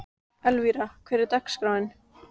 Elvira, hvernig er dagskráin?